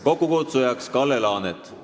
Kokkukutsuja on Kalle Laanet.